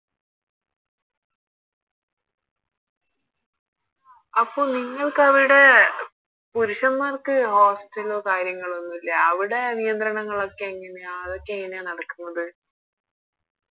അപ്പൊ നിങ്ങൾക്കവിടെ പുരുഷന്മാർക്ക് Hostel ലോ കാര്യങ്ങളോ ഒന്നുല്ലേ അവിടെ നിയന്ത്രണങ്ങളൊക്കെ എങ്ങനെയാ അതൊക്കെ എങ്ങനെയാ നടക്കുന്നത്